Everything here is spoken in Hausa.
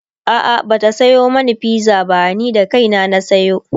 a'a Bata Sayo mani pizza ba ni da kaina na sayo